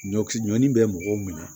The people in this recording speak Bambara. Ɲɔkisɛ ɲɔdi bɛ mɔgɔw minɛ